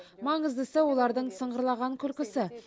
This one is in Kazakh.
маңыздысы олардың сыңғырлаған күлкісі